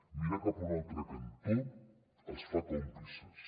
mirar cap a un altre cantó els fa còmplices